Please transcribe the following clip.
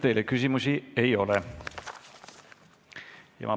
Teile küsimusi ei ole.